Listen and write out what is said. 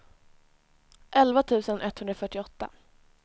elva tusen etthundrafyrtioåtta